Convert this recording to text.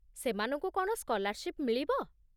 ସେମାନଙ୍କୁ କ'ଣ ସ୍କଲାର୍ଶିପ୍ ମିଳିବ?